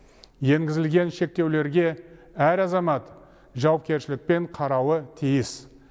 енгізілген шектеулерге әр азамат жауапкершілікпен қарауы тиіс